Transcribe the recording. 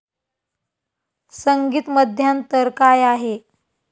संगीत मध्यांतर काय आहे?